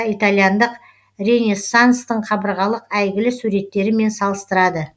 итальяндық ренессанстың қабырғалық әйгілі суреттерімен салыстырады